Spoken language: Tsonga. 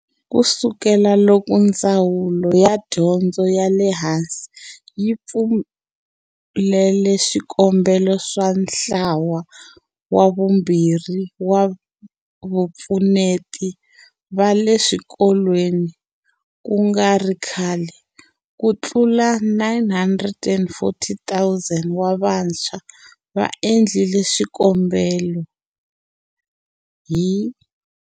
Ku sukela loko Ndzawulo ya Dyondzo ya le Hansi yi pfulele swikombelo swa ntlawa wa vumbirhi wa vapfuneti va le swikolweni ku nga ri khale, ku tlula 940 000 wa vantshwa va endlile swikombelo hi.